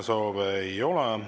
Suur tänu!